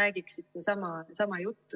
räägiksite sama juttu.